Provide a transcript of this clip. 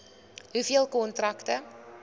hoeveel kontrakte